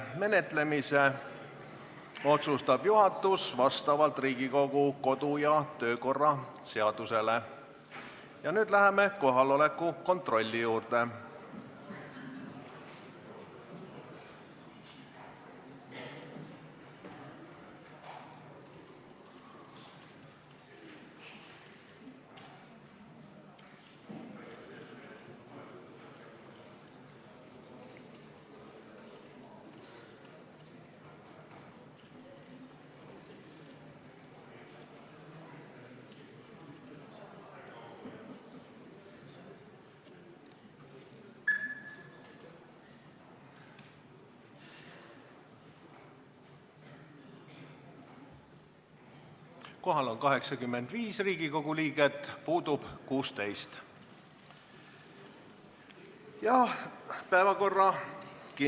Lugupeetud kolleegid!